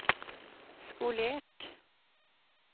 skolert